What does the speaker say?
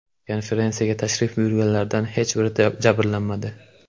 Konferensiyaga tashrif buyurganlardan hech biri jabrlanmadi.